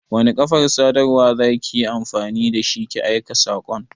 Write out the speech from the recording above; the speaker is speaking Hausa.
Wani kafar sadarwan za ki yi amfani da shi ki aika saƙon?